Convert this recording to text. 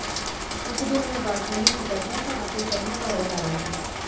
ਇਕ ਦਿਨ ਮੈਂ ਬਾਲਕੋਨੀ ਵਿਚ ਬੈਠਾ ਸਾਂ ਅਤੇ ਸ਼ਰਮਾ ਘਰ ਵੱਲ ਆ ਰਿਹਾ ਸੀ